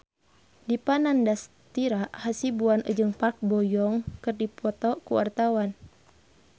Dipa Nandastyra Hasibuan jeung Park Bo Yung keur dipoto ku wartawan